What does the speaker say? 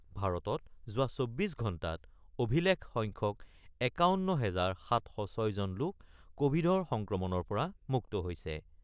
ভাৰতত যোৱা ২৪ ঘণ্টাত অভিলেখ সংখ্যক ৫১ হাজাৰ ৭০৬ জন লোক কোবিডৰ সংক্ৰমণৰ পৰা মুক্ত হৈছে ।